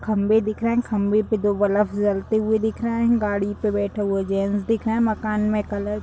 खम्भे दिख रहे हैं खम्भे पे दो ब्लब जलते हुए दिख रहे हैं गाड़ी पे बैठा हुआ जेंट्स दिख रहा है मकान में कलर --